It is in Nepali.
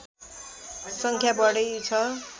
सङ्ख्या बढी छ